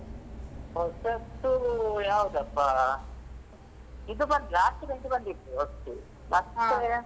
ಹೊಸತ್ತು ಯಾವದಪ್ಪಾ ಇದು ಬಂತ್ Last Bench ಬಂದಿತ್ತು ಹೊಸ್ತು ಮತ್ತೇ.